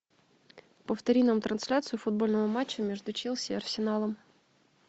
повтори нам трансляцию футбольного матча между челси и арсеналом